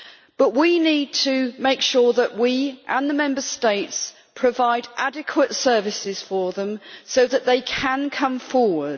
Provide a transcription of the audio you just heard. But we need to make sure that we and the Member States provide adequate services for them so that they can come forward.